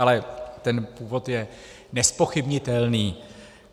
Ale ten původ je nezpochybnitelný.